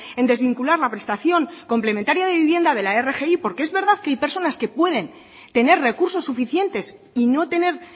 en desvincular la prestación complementaria de vivienda de la rgi porque es verdad que hay personas que pueden tener recursos suficientes y no tener